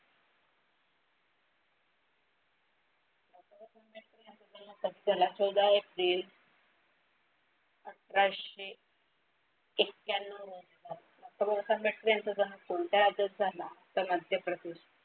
चौदा एप्रिल अठराशे एक्क्याण्णव. डॉक्टर बाबासाहेब आंबेडकर यांचा जन्म कोणत्या राज्यात झाला तर मध्यप्रदेश.